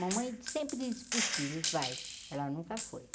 Mamãe sempre disse para os filhos, vai, ela nunca foi.